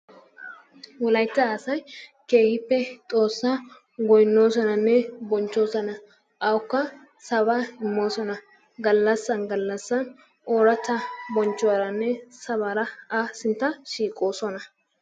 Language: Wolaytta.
Wolaytta asay keehippe xoossaa goynoosonnanne bonchchoosona. awukka sabaa immoosona. Galassan gallasan ooratta bonchchuwaranne sabaara A sintta shiiqoosona.